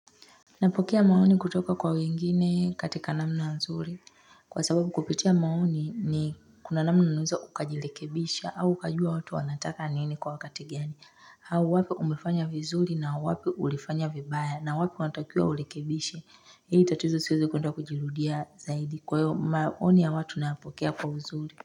Napokea maoni kutoka kwa wengine katika namna nzuri kwa sababu kupitia maoni ni, kuna namna unaweza ukajirekebisha au ukajua watu wanataka nini kwa wakati gani. Au wapi umefanya vizuri na wapi ulifanya vibaya na wapi unatakiwa urekebishe ili tatizo isiweze kuenda kujirudia zaidi. Kwa hiyo maoni ya watu nayapokea kwa uzuri.